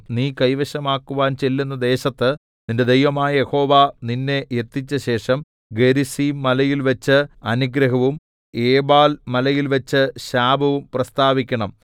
നീ കൈവശമാക്കുവാൻ ചെല്ലുന്ന ദേശത്ത് നിന്റെ ദൈവമായ യഹോവ നിന്നെ എത്തിച്ചശേഷം ഗെരിസീം മലയിൽവച്ച് അനുഗ്രഹവും ഏബാൽ മലയിൽവച്ച് ശാപവും പ്രസ്താവിക്കണം